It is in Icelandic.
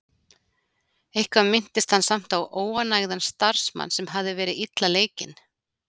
Eitthvað minntist hann samt á óánægðan starfsmann, sem hafði verið illa leikinn.